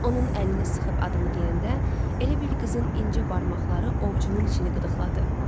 Onun əlini sıxıb adımı deyəndə, elə bil qızın incə barmaqları ovcumun içini qıdıqladı.